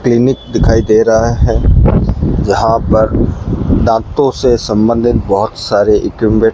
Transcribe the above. clinic दिखाई दे रहा है यहां पर दांतो से संबंधित बहोत सारे इक्विमेट --